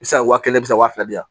Bi se ka wa kelen bisa wa fila di yan